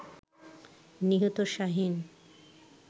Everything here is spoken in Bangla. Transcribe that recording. নিহত শাহীন